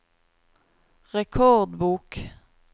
rekordbok